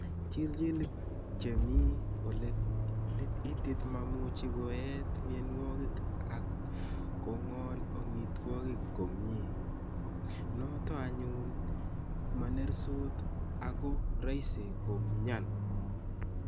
chiljilik che mi ole itit mamuchi koeet mienwogik ak kong'ol amitwogik komnye, nooto anyun ma nertos ak ko raisi ko myan